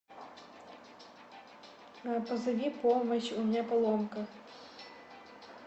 позови помощь у меня поломка